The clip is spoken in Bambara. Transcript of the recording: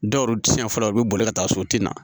Dɔw tiɲɛn fɔlɔ u bɛ boli ka taa so o tɛ na